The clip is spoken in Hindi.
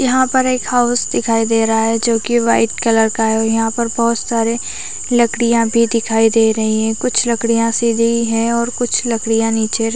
यहाँ पर एक हाउस दिखाई दे रहा है जो की वाइट कलर का है और यहाँ पर बहोत सारे लकडियां भी दिखाई दे रही है कुछ लकडियां सीधी है और कुछ लकडियां नीचे --